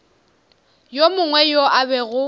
yo mongwe yo a bego